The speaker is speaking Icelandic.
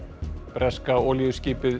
breska olíuskipið